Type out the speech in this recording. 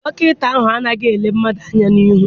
Dọkịta ahụ anaghị ele mmadụ anya n'ihu.